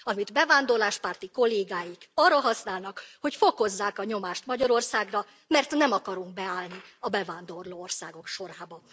Amit bevándorláspárti kollégáink arra használnak, hogy fokozzák a nyomást Magyarországra, mert nem akarunk beállni a bevándorló országok sorába.